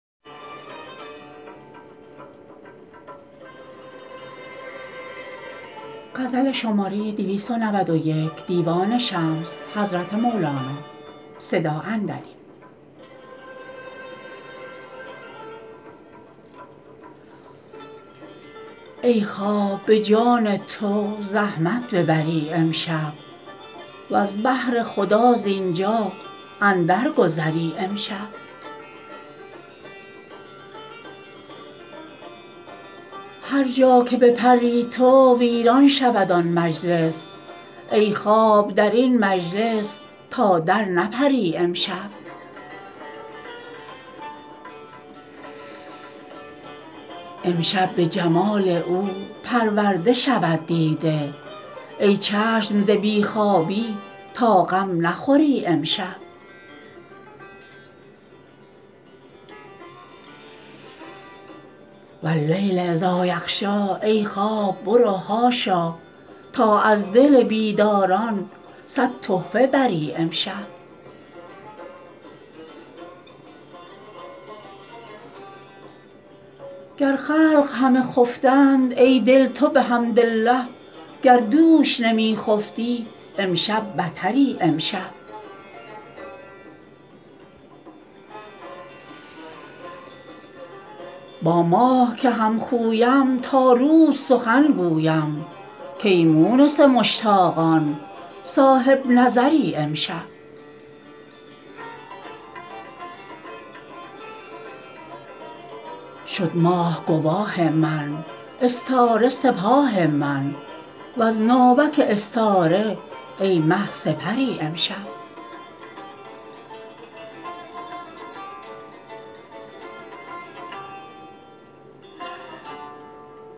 ای خواب به جان تو زحمت ببری امشب وز بهر خدا زین جا اندرگذری امشب هر جا که بپری تو ویران شود آن مجلس ای خواب در این مجلس تا درنپری امشب امشب به جمال او پرورده شود دیده ای چشم ز بی خوابی تا غم نخوری امشب و اللیل اذا یغشی ای خواب برو حاشا تا از دل بیداران صد تحفه بری امشب گر خلق همه خفتند ای دل تو بحمدالله گر دوش نمی خفتی امشب بتری امشب با ماه که همخویم تا روز سخن گویم کای مونس مشتاقان صاحب نظری امشب شد ماه گواه من استاره سپاه من وز ناوک استاره ای مه سپری امشب